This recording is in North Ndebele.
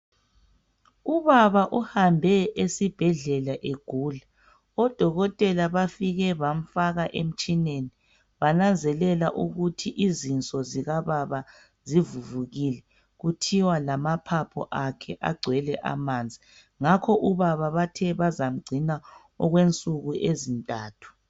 ubaba uhambe esibhedlela egula odokotela bafike bamfaka emtshineni bananzelela ukuthi izinso zikababa zivuvukile kuthiwa lamaphaphu akhe agcwele amanzi ngakho ubaba bathe bazamugcina okwensuku ezintathu